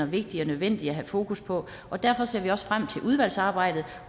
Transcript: vigtigt og nødvendigt at have fokus på og derfor ser vi også frem til udvalgsarbejdet